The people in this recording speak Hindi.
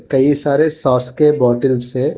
कई सारे सॉस के बॉटल्स हैं।